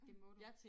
Det må du